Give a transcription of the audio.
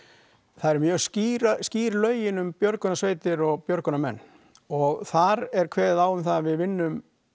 það eru mjög skýr skýr lögin um björgunarsveitir og björgunarmenn og þar er kveðið á um það að við vinnum